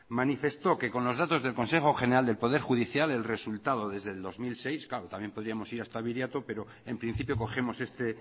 manifestó que con los datos del consejo general del poder judicial el resultado desde el dos mil seis claro también podríamos ir hasta biriato pero en principio cogemos este